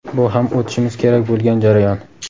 bu ham o‘tishimiz kerak bo‘lgan jarayon.